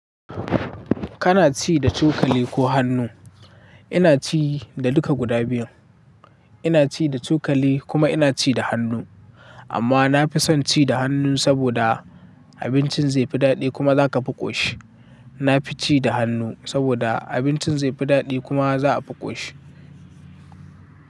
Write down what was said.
Kana ci da cokali ko hannu? Ina ci da duka guda biyun. Ina ci da cokali kuma ina ci da hannu. Amma na fi son ci da hannu saboda abincin zai fi daɗi kuma za ka fi ƙoshi. Na fi ci da hannu saboda abincin zai fi daɗi kuma za a fi ƙoshi.